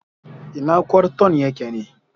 Ina kwarton yake ne?